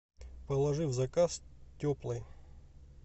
положи в заказ теплой